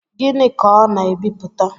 Gịnị ka ọ na ebipụta?